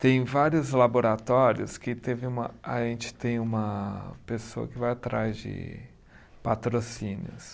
Tem vários laboratórios que teve uma, a gente tem uma pessoa que vai atrás de patrocínios.